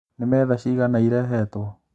Nĩ metha cigana irehetwo?